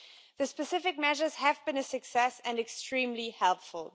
The specific measures have thus been a success and extremely helpful.